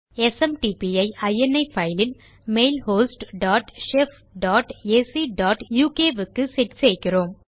SMTP ஐ இனி file இல் mail host dot shef dot ac dot uk க்கு செட் செய்கிறோம்